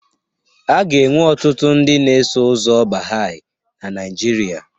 A ga-enwe ọtụtụ ndị na-eso ụzọ Baha'i na Nigeria.